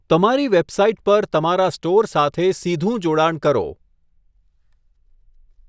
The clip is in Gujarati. તમારી વેબસાઇટ પર તમારા સ્ટોર સાથે સીધું જોડાણ કરો.